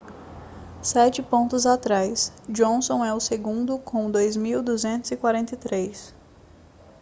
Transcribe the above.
sete pontos atrás johnson é o segundo com 2.243